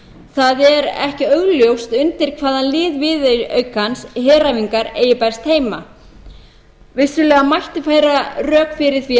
það er ekki augljóst undir hvaða lið viðaukans heræfingar eigi best heima vissulega mætti færa rök fyrir því að